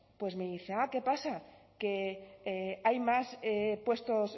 pues me dice ah qué pasa que hay más puestos